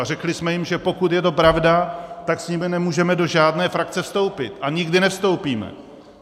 A řekli jsme jim, že pokud je to pravda, tak s nimi nemůžeme do žádné frakce vstoupit a nikdy nevstoupíme.